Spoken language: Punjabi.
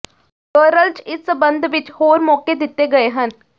ਗਰਲਜ਼ ਇਸ ਸਬੰਧ ਵਿਚ ਹੋਰ ਮੌਕੇ ਦਿੱਤੇ ਗਏ ਹਨ